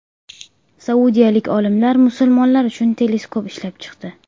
Saudiyalik olimlar musulmonlar uchun teleskop ishlab chiqdi.